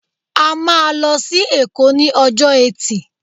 A máa lọ sí èkó ní ọjọ́ etí